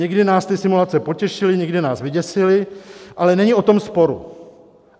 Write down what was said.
někdy nás ty simulace potěšily, někdy nás vyděsily, ale není o tom sporu.